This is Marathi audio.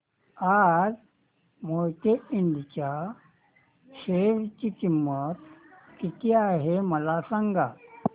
आज मोहिते इंड च्या शेअर ची किंमत किती आहे मला सांगा